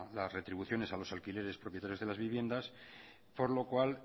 las retribuciones a los alquileres propietarios de las viviendas por lo cual